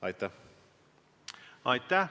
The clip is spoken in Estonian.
Aitäh!